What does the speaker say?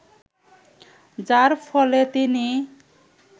যার ফলে তিনি